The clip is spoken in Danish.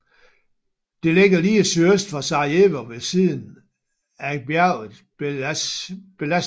Det ligger lige sydøst for Sarajevo ved siden ag bjerget Bjelašnica